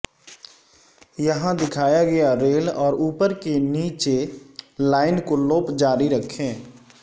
یہاں دکھایا گیا ریل اور اوپر کے نیچے لائن کو لوپ جاری رکھیں